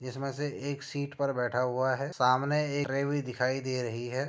जिसमें से एक सीट पर बैठा हुआ है। सामने एक ट्रे भी दिखाई दे रही है।